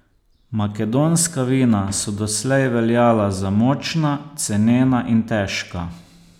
Makedonska vina so doslej veljala za močna, cenena in težka.